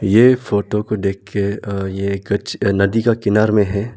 ये फोटो को देख के अ ये कुछ नदी के किनार में है।